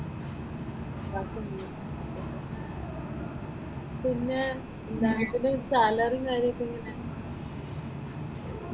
Class അനുസരിച്ചിട്ട്. പിന്നെ സാലറിയും കാര്യങ്ങളും എങ്ങനെയാ?